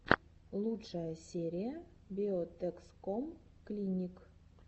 лучшая серия биотэкском клиник